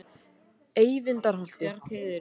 Eyvindarholti